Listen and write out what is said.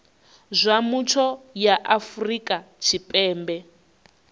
zwa mutsho ya afrika tshipembe